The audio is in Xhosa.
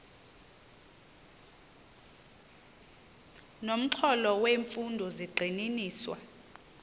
nomxholo wemfundo zigxininiswa